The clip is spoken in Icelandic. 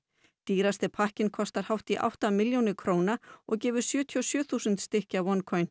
dýrasti pakkinn kostar hátt í átta milljónir króna og gefur sjötíu og sjö þúsund stykki af